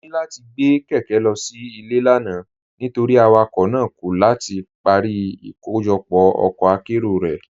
Mọ̀ ní láti gbé kékè lọ sí ilẹ̀ lánà̀ nítorí awakọ̀ náà kọ̀ láti parí ìkọ̀jọpọ̀ ọkọ̀ àkéró rẹ́.